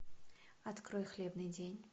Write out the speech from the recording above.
открой хлебный день